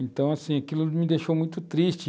Então, assim, aquilo me deixou muito triste.